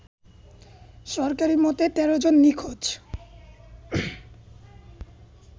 সরকারি মতে ১৩ জন নিখোঁজ